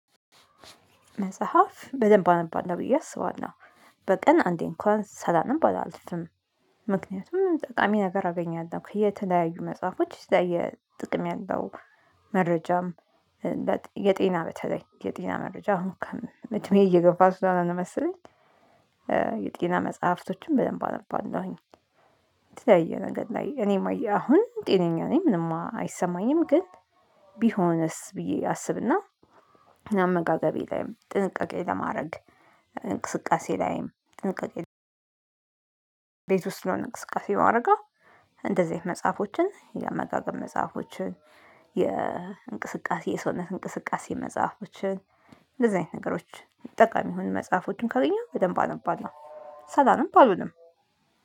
መጽሐፍ በደንብ አነባለው ብዬ አስባለሁ በቀን አንዴ እንኳን ሳላነብ አላልፍም። ጠቃሚ ነገር አገኛለሁ ከየተለያዩ መጽሐፎች የተለያየ ጥቅም ያለው መረጃም። የጤና በተለይ የጤና መረጃ አሁን እድሜ እየገፋ ስለሆነ ነው መሰለኝ። የጤና መጽሐፍቶችን በደንብ አነባለሁኝ የተያየ ነገር ላይ እኔም አየሁ አሁን ጤነኛ ነኝ ምንም አይሰማኝም ግን። ቢሆንስ ብዬ አስብና አመጋገቤ ላይም ጥንቃቄ ለማድረግ። እንቅስቃሴ ላይም ቤት ውስጥ ስለሆነ እንቅስቃሴ ማደረገው። እንደዚህ አይነት መጽሐፎችን የአመጋገብ መጽሐፎችን የእንቅስቃሴ የሰውነት እንቅስቃሴ መጽሐፎችን። እንደዚህ አይነት ነገሮች ጠቃሚ የሆኑ መጽሐፎችን ካገኘሁ በደንብ አነባለሁ ሳላነብ አልውልም።